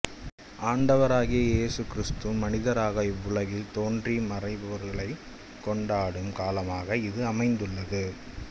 ஆண்டவராகிய இயேசு கிறிஸ்து மனிதராக இவ்வுலகில் தோன்றிய மறைபொருளைக் கொண்டாடும் காலமாக இது அமைந்துள்ளது